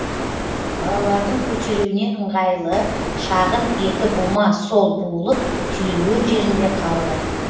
балалардың көтеруіне ыңғайлы шағын екі бума сол буылып түйілген жерінде қалды